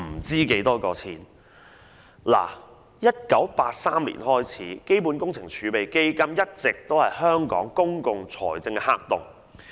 自1983年起，基本工程儲備基金一直是香港公共財政的黑洞。